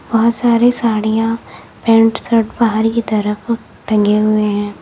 बहुत सारी साड़ियां पैंट शर्ट बाहर की तरफ टंगे हुए हैं।